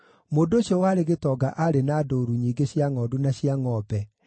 Mũndũ ũcio warĩ gĩtonga aarĩ na ndũũru nyingĩ cia ngʼondu na cia ngʼombe,